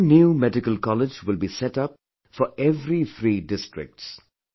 One new medical college will be set up for every three districts